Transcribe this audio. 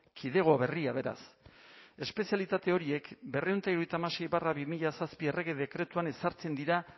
kidego berria beraz espezialitate horiek berrehun eta hirurogeita hamasei barra bi mila zazpi errege dekretuan ezartzen dira